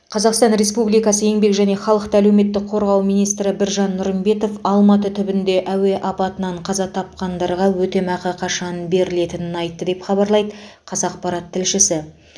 қазақстан респубикасы еңбек және халықты әлеуметтік қорғау министрі біржан нұрымбетов алматы түбінде әуе апатынан қаза тапқандарға өтемақы қашан берілетінін айтты деп хабарлайды қазақпарат тілшісі